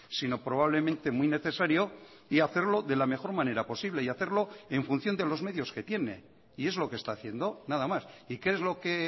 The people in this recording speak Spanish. sino probablemente muy necesario y hacerlo de la mejor manera posible y hacerlo en función de los medios que tiene y es lo que está haciendo nada más y qué es lo que